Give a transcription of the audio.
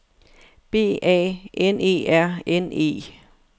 B A N E R N E